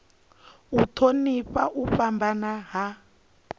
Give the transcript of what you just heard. u thonifha u fhambana ha